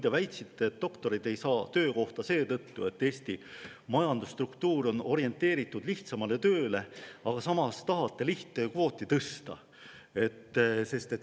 Te väitsite, et doktorid ei saa töökohta seetõttu, et Eesti majanduse struktuur on orienteeritud lihtsamale tööle, aga samas tahate lihttöö puhul kvooti tõsta.